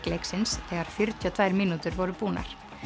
leiksins þegar fjörutíu og tvær mínútur voru búnar